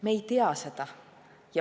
Me ei tea seda.